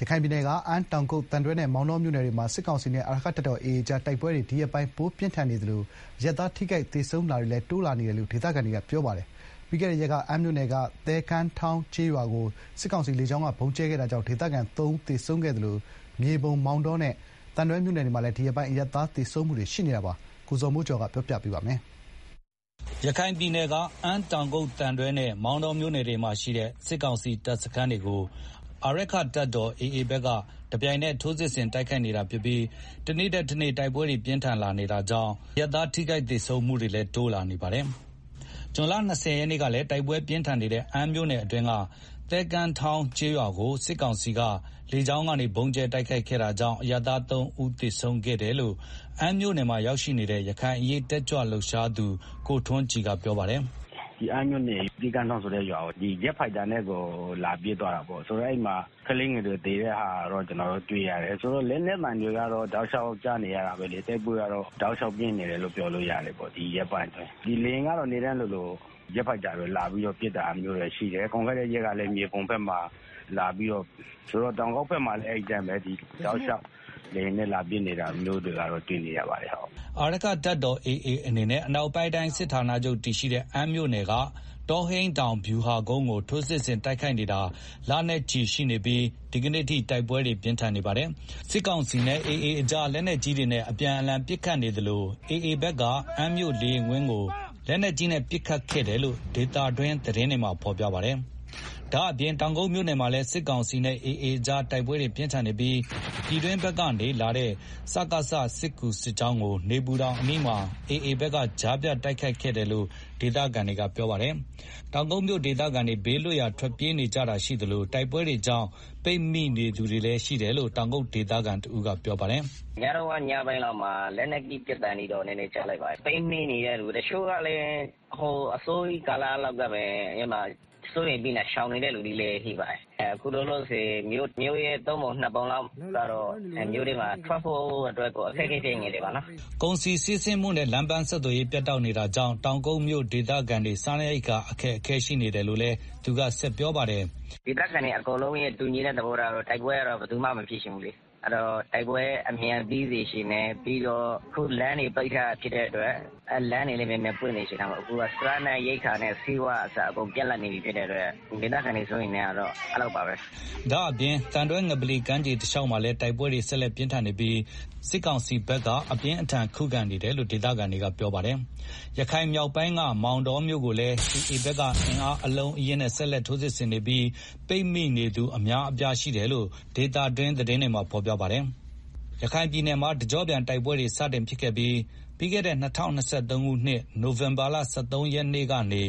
ရခိုင်ပြည်နယ် အမ်း တောင်ကုတ် သံတွဲနဲ့ မောင်တောမြို့နယ်တွေမှာ စစ်ကောင်စီနဲ့ အာရက္ခတပ်တော် AA ကြား တိုက်ပွဲတွေ ဒီရက်ပိုင်း ပိုပြင်းထန်နေသလို အရပ်သားထိခိုက် သေဆုံးတာတွေလည်း တိုးလာနေတာပါ။ ပြီးခဲ့တဲ့ရက်က အမ်းမြို့နယ်က သဲကမ်းထောင်း ကျေးရွာကို စစ်ကောင်စီက လေကြောင်းကနေ ဗုံးကြဲခဲ့တာကြောင့် ဒေသခံ ၃ ဦး သေဆုံးခဲ့တာပါ။ ဒါ့အပြင်မြေပုံ မောင်တောနဲ့ သံတွဲမြို့နယ်မှာလည်း ဒီရက်ပိုင်း အရပ်သားသေဆုံးတာတွေ ရှိနေပါတယ်။ ရန်ကုန်က ပေးပို့ထားတဲ့ သတင်းကို ဇော်မိုးကျော်က ပြောပြပါမယ်။ ရခိုင်ပြည်နယ်က အမ်း တောင်ကုတ် သံတွဲနဲ့ မောင်တောမြို့နယ်တွေမှာရှိတဲ့ စစ်ကောင်စီ တပ်စခန်းတွေကို အာရက္ခတပ်တော် AA ဘက်က တပြိုင်နက် ထိုးစစ်ဆင် တိုက်ခိုက်နေတာဖြစ်ပြီး တနေ့ထက်တနေ့ တိုက်ပွဲတွေ ပိုပြင်းထန်လာ နေတာပါ။ အခုလို တိုက်ပွဲတွေ ပြင်းထန်လာတာနဲ့အမျှ အရပ်သား ထိခိုက်သေဆုံးတာတွေလည်း တိုး လာနေပါတယ်။ ဇွန် ၂၀ ရက်နေ့ကလည်း တိုက်ပွဲ ပြင်းထန်နေတဲ့ အမ်းမြို့နယ်အတွင်းက သဲကမ်းထောင်း ကျေးရွာကို စစ်ကောင်စီတပ်က လေကြောင်းက ဗုံးကြဲခဲ့တာကြောင့် အရပ်သား ၃ ဦးသေဆုံးခဲ့တယ်လို့ အမ်းမြို့နယ်မှာနေတဲ့ ရခိုင်အရေးတက်ကြွလှုပ်ရှားသူ ကိုထွန်းကြည်က ပြောပါတယ်။ “ မနေ့ကတော့ အမ်းမြို့နယ်က သဲကမ်းထောင်းဆိုတဲ့ ရွာကို လေယာဉ်နဲ့ လာပစ်တာ ရှိတယ်။ ဂျက်ဖိုက်တာနဲ့ကို လာပစ်တာဆိုတော့ အဲဒီမှာ ကလေးငယ်တွေ သေတာ ကျနော်တို့တွေ့ရတယ် ဆိုတော့ လက်နက်သံတွေက တောက်လျောက်ကြားနေရတယ် တိုက်ပွဲက အတော် ပြင်းထန်နေတယ်လို့ ပြောလို့ရတယ်။ ဒီရက်ပိုင်းအတွင်းဆိုတော့ လေယာဉ်ကလည်း နေ့တိုင်းလိုလို ဂျက်ဖိုက်တာတွေ လာပြီးတော့ ပစ်တာရှိတယ်။ ပြီးခဲ့တဲ့ ရက်ကလည်း မြေပုံမှာ လာပစ်တာရှိတယ် မနေ့ကလည်း အမ်းမှာ လာပစ်တယ်။တောင်ကုတ်ဘက်မှာလည်း အဲဒီအတိုင်းပဲ တောက်လျောက် လေယာဉ်နဲ့ လာပစ်တာတွေ့နေရတယ်။” အာရက္ခတပ်တော် AA အနေနဲ့ အနောက်ပိုင်းတိုင်း စစ်ဌာနာချုပ်တည်ရှိတဲ့ အမ်းမြို့နယ်က တောဟိန်းတောင်ဗျူဟာကုန်းကို ထိုးစစ်ဆင် တိုက်ခိုက်နေတာ လနဲ့ချီ ရှိနေပြီး ဒီကနေ့အထိ တိုက်ပွဲတွေ ပြင်းထန်နေပါတယ်။ စစ်ကောင်စီနဲ့ AA ကြား လက်နက်ကြီးတွေနဲ့ အပြန်အလှန် ပစ်ခတ်နေကြသလို AA ဘက်က အမ်းမြို့လေယာဉ်ကွင်းကို လက်နက်ကြီးနဲ့ ပစ်ခတ်ခဲ့တယ်လို့ ဒေသတွင်းသတင်းဌာနတွေမှာ ဖော်ပြထားကြပါတယ်။ ဒါ့ပြင် တောင်ကုတ်မြို့နယ်မှာလည်း စစ်ကောင်စီနဲ့ AA ကြား တိုက်ပွဲတွေ ပြင်းထန်နေပြီး ပြည်တွင်းဘက်ကနေ စစ်ကူလာတဲ့ စစ်ကောင်စီစစ်ကြောင်းကို နေပူတောင်အနီးမှာ AA ဘက်က ကြားဖြတ် တိုက်ခိုက်ခဲ့တယ်လို့ ဒေသခံတွေ ကပြောပါတယ်။ တောက်ကုတ်မြို ဒေသခံတွေ ဘေးလွတ်ရာကို ထွက်ပြေးကြတာရှိသလို တိုက်ပွဲတွေကြောင့် ပိတ်မိနေသူတွေလည်း ရှိနေတယ်လို့ တောင်ကုတ်ဒေသခံတဦးက ပြောပါတယ်။ “ ပစ်သံခတ်သံကတော့ ညပိုင်းလောက်မှာ လက်နက်ကြီး ပစ်သံတွေတော့ နည်းနည်းကြား လိုက်တယ်။ ပိတ်မိနေတဲ့ သူတချို့ကလည်း အစောကြီး ကာလကတည်းက စိုးရိမ်ပြီးတော့ ရှောင်နေတဲ့သူတွေလည်း ရှိပါတယ်။ အခုလောလောဆယ် မြို့တဝက် မြို့ရဲ့သုံးပုံနှစ်ပုံလောက် မြို့ထဲမှာ ထွက်ဖို့ အခက်အခဲဖြစ်နေကြတယ်။” ကုန်စည်စီးဆင်းမှုနဲ့ လမ်းပန်းဆက်သွယ်ရေး ပြတ်တောက်နေတာကြောင့် တောင်ကုတ်မြိုဒေသခံတွေ စားနပ်ရိက္ခာတွေလည်း ခက်ခဲနေတယ်လို့လည်း သူက ဆက်ပြောပါတယ်။ “ ဒေသခံတွေရဲ့ တူညီတဲ့ သဘောထားကတော့ တိုက်ပွဲ အမြန်ပြီးစေချင်တယ်၊ ပြီးတော့ အခု လမ်းတွေပိတ်ထားတာဖြစ်တဲ့အတွက် လမ်းတွေလည်း မြန်မြန် ဖွင့်စေချင်တယ်၊ စားနပ်ရိက္ခာနဲ့ ဆေးဝါးကအစ အကုန်ပြတ်လပ်နေတဲ့ အတွက် ဒေသခံတွေ စိုးရိမ်နေကြတယ်။” ဒါ့အပြင် သံတွဲငပလီ ကမ်းခြေတလျောက်မှာလည်း တိုက်ပွဲတွေဆက် လက်ပြင်းထန်နေပြီး စစ်ကောင်စီဘက်က အပြင်းအထန်ခုခံ တိုက်ခိုက်နေတယ်လို့ ဒေသခံတွေက ပြောဆိုကြပါတယ်။ ရခိုင်မြောက်ပိုင်းက မောင်တောမြို့ကို AA ဘက်က အင်အား အလုံးအရင်းနဲ့ ဆက်လက် ထိုးစစ်ဆင်နေပြီး ပိတ်မိနေသူ အများအပြားရှိတယ်လို့ ဒေသတွင်း သတင်းတွေမှာ ဖော်ပြပါတယ်။ ရခိုင်ပြည်နယ်မှာ တကြော့ပြန်တိုက်ပွဲတွေ စတင်ခဲ့တဲ့ ပြီးခဲ့တဲ့ ၂၀၂၃ ခုနှစ် နိုင်ဝင်ဘာလ ၁၃ ရက်နေ့ကနေ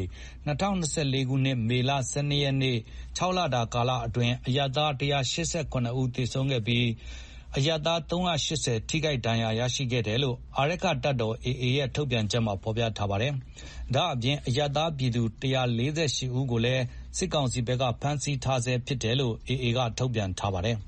၂၀၂၄ ခုနှစ် မေလ ၁၂ ရက်နေ့ ၆ လတာ ကာလအတွင်း အရပ်သား ၁၈၇ ဦးသေဆုံးခဲ့ရသလို အရပ်သား ၃၈၀ ထိခိုက်ဒဏ်ရာရရှိခဲ့တယ်လို့ အာရက္ခတပ်တော် AA ရဲ့ ထုတ်ပြန်ချက်မှာ ဖော်ပြထားပါတယ်။ ဒါ့အပြင် အရပ်သားပြည်သူ ၁၄၈ ဦးကိုလည်း စစ်ကောင်စီက ဖမ်းဆီးထားဆဲဖြစ်တယ်လို့ AA ဘက်က ထုတ်ပြန်ထားပါတယ်။